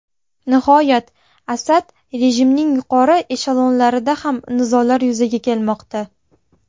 Nihoyat, Asad rejimining yuqori eshelonlarida ham nizolar yuzaga kelmoqda.